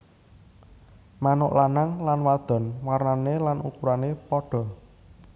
Manuk lanang lan wadon warnané lan ukurané padha